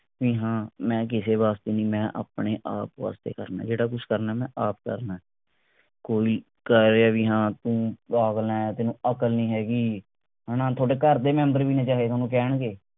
ਵੀ ਹਾਂ ਮੈਂ ਕਿਸੇ ਵਾਸਤੇ ਨਹੀਂ ਮੈਂ ਆਪਣੇ ਆਪ ਵਾਸਤੇ ਕਰਨੇ ਜਿਹੜਾ ਕੁਛ ਕਰਨੇ ਮੈਂ ਆਪ ਕਰਨੇ ਕੋਈ ਕਹੇ ਵੀ ਹਾਂ ਤੂੰ ਪਾਗਲ ਆ ਤੈਨੂੰ ਅਕਲ ਨਹੀਂ ਹੈਗੀ ਹਣਾ ਥੋਡੇ ਘਰ ਦੇ member ਵੀ ਚਾਹੇ ਥੋਨੂੰ ਕਹਿਣਗੇ